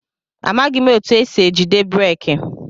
Amaghị m etụ esị ejide breeki.